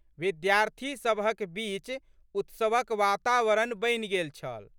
विद्यार्थी सबहक बीच उत्सवक वातावरण बनि गेल छल।